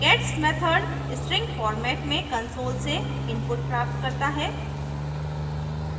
gets method gets method string format में console से input प्राप्त करता है